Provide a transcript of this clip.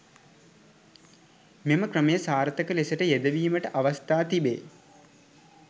මෙම ක්‍රමය සාර්ථක ලෙසට යෙදවීමට අවස්ථා තිබේ.